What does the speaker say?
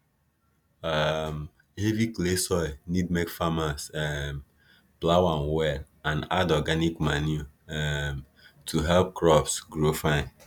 um heavy clay soil need make farmers um plough am well and add organic manure um to help crops grow fine